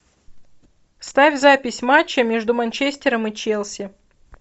ставь запись матча между манчестером и челси